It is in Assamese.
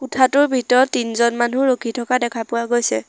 কোঠাটোৰ ভিতৰত তিনজন মানুহ ৰখি থকা দেখা পোৱা গৈছে।